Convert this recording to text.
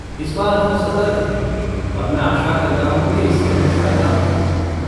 इस बार हम सतर्क हैं और मैं आशा करता हूँ कि इससे हमें फ़ायदा होगा।